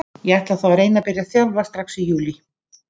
Ég ætla þá að reyna að byrja að þjálfa strax í júlí.